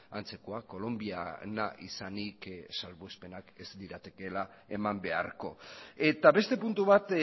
antzekoa kolonbiana izanik salbuespenak ez liratekeela eman beharko eta beste puntu bat